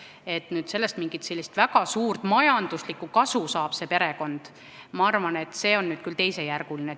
See, et see perekond sellest mingit väga suurt majanduslikku kasu saab, ma arvan, on küll teisejärguline.